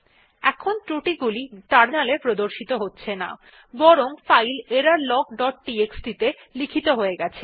এখন ত্রুটি গুলি টার্মিনালে প্রদর্শিত হচ্ছে না বরং ফাইল এররলগ ডট টিএক্সটি ত়ে লিখিত হয়ে গেছে